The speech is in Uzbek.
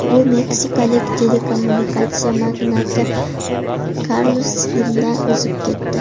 U meksikalik telekommunikatsiya magnati Karlos Slimdan o‘zib ketdi.